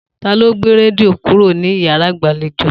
Ta ló gbé rẹdìo kúrò ní yàrá ìgbàléjo?